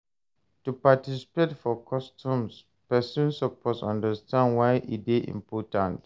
To participate for customs persin suppose understand why e de important